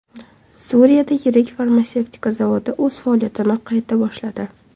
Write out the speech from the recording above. Suriyada yirik farmatsevtika zavodi o‘z faoliyatini qayta boshladi.